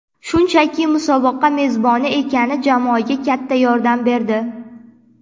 Shunchaki musobaqa mezboni ekani jamoaga katta yordam berdi.